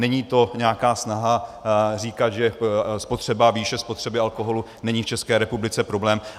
Není to nějaká snaha říkat, že výše spotřeby alkoholu není v České republice problém.